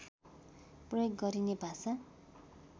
प्रयोग गरिने भाषा